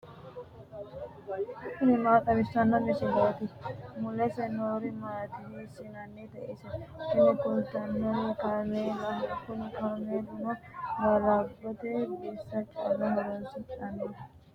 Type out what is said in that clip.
tini maa xawissanno misileeti ? mulese noori maati ? hiissinannite ise ? tini kultannori kaameelaho. kuni kaameelino ga'labbote bissa calla horoonsidhannoho.